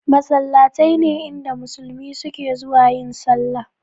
Masallatai ne inda musulmi suke zuwa yin sallah